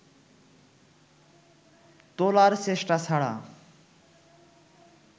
তোলার চেষ্টা ছাড়া